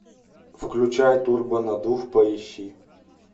включай турбонаддув поищи